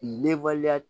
Ne waleya